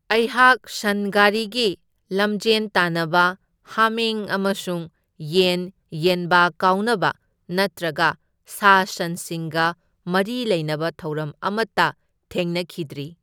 ꯑꯩꯍꯥꯛ ꯁꯟ ꯒꯥꯔꯤꯒꯤ ꯂꯝꯖꯦꯟ ꯇꯥꯟꯅꯕ, ꯍꯥꯃꯦꯡ ꯑꯃꯁꯨꯡ ꯌꯦꯟ ꯌꯦꯟꯕꯥ ꯀꯥꯎꯅꯕ ꯅꯠꯇ꯭ꯔꯒ ꯁꯥ ꯁꯟꯁꯤꯡꯒ ꯃꯔꯤ ꯂꯩꯅꯕ ꯊꯧꯔꯝ ꯑꯃꯇ ꯊꯦꯡꯅꯈꯤꯗ꯭ꯔꯤ꯫